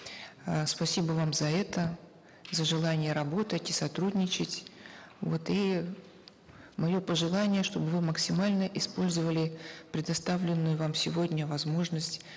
э спасибо вам за это за желание работать и сотрудничать вот и мое пожелание чтобы вы максимально использовали предоставленную вам сегодня возможность